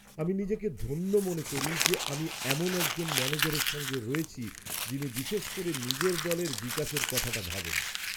আমি নিজেকে ধন্য মনে করি যে আমি এমন একজন ম্যানেজারের সঙ্গে রয়েছি যিনি বিশেষ করে নিজের দলের বিকাশের কথাটা ভাবেন।